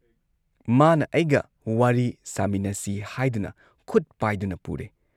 ꯃꯥꯅ ꯑꯩꯒ ꯋꯥꯔꯤ ꯁꯥꯃꯤꯟꯅꯁꯤ ꯍꯥꯏꯗꯨꯅ ꯈꯨꯠ ꯄꯥꯏꯗꯨꯅ ꯄꯨꯔꯦ ꯫